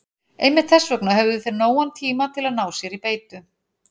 Einmitt þess vegna höfðu þeir nógan tíma til að ná sér í beitu.